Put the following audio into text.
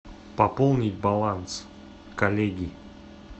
пополни баланс коллеги